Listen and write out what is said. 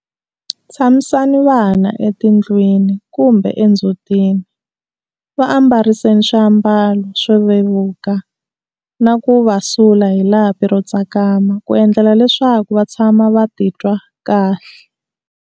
Tshamisani vana etindlwini kumbe endzhutini, va ambariseni swiambalo swo vevuka na ku va sula hi lapi ro tsakama ku endlela leswaku va tshama va ti twa kahle.